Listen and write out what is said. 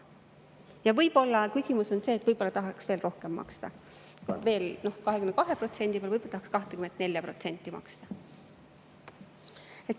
Ja võib-olla küsimus on selles, et võib-olla tahaks veel rohkem maksta, et on 22% peal, võib-olla tahaks 24% maksta.